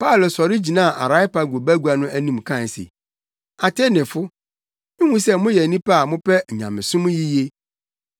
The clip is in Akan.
Paulo sɔre gyinaa Areopago bagua no anim kae se, “Atenefo, mihu sɛ moyɛ nnipa a mopɛ nyamesom yiye.